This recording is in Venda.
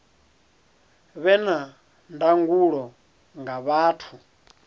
vhe na ndangulo nga vhathu